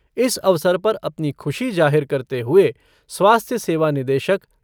इस अवसर पर अपनी खुशी जाहिर करते हुए स्वास्थ्य सेवा निदेशक